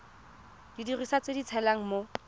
didiriswa tse di tshelang mo